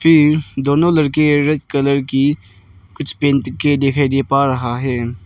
ये दोनों लड़के रेड कलर की कुछ पहनके दिखाइ दे पा रहा है।